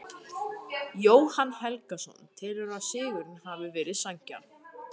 Jóhann Helgason telur að sigurinn hafi verið sanngjarn.